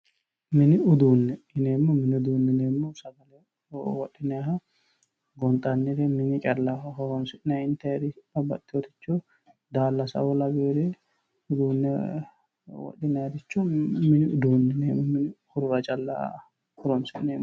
Mini uduune, mini uduune yineemmohu sagale wodhinanniha gonxanniri mini callaho horonsi'nanni intanniri babbaxino daalasao lawinore uduune wodhinanniricho mini uduune yineemmo mini horora calla horonsi'neemmoho.